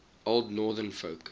old northern folk